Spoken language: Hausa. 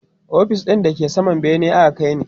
ofis ɗin da ke saman bene aka kaini